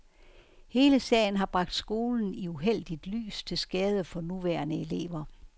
Hele sagen har bragt skolen i uheldigt lys til skade for nuværende elever.